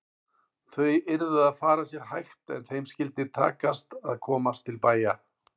Þau yrðu að fara sér hægt en þeim skyldi takast að komast til bæja!